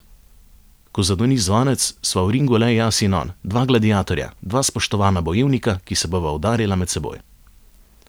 Ko zadoni zvonec, sva v ringu le jaz in on, dva gladiatorja, dva spoštovana bojevnika, ki se bova udarila med seboj.